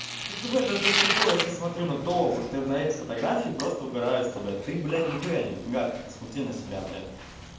так в этом то и прикол я сейчас смотрю на то вот на эти фотографии просто угораю с тебя ты блядь нехуя не богата посмотри на себя блядь